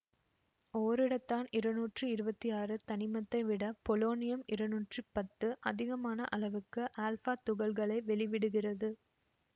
ஓரிடத்தான் இருநூற்றி இருவத்தி ஆறு தனிமத்தைவிட பொலொணியம் இருநூற்றி பத்து அதிகமான அளவுக்கு ஆல்பா துகள்களை வெளிவிடுகிறது